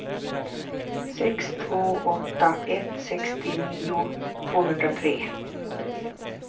sex två åtta ett sextionio tvåhundratre